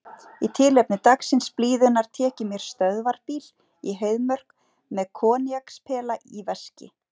Í tilefni dagsins, blíðunnar, tek ég mér stöðvarbíl í Heiðmörk, með koníakspela í veski.